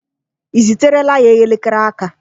Ị ziterela ya elekere aka?